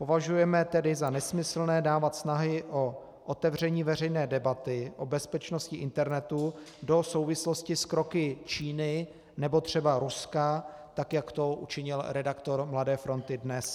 Považujeme tedy za nesmyslné dávat snahy o otevření veřejné debaty o bezpečnosti internetu do souvislosti s kroky Číny nebo třeba Ruska, tak jak to učinil redaktor Mladé fronty Dnes.